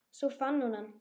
Svo fann hún hann.